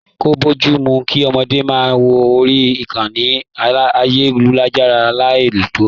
Ko bojumu kí ọmọdé máa wọ orí ìkànnì ayelujara lai tọ.